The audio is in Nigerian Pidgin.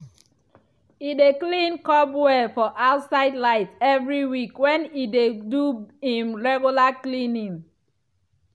e dey clean cobweb for outside light every week when e dey do him regular cleaning.